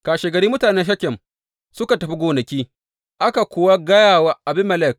Kashegari mutanen Shekem suka tafi gonaki, aka kuwa gaya wa Abimelek.